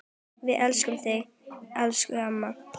Við elskum þig, elsku amma.